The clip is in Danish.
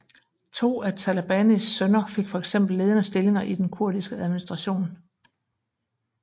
To af Talabanis sønner fik for eksempel ledende stillinger i den kurdiske administration